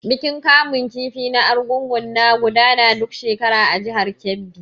Bikin kamun kifi na Argungu na gudana duk shekara a jihar Kebbi.